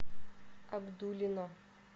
абдулино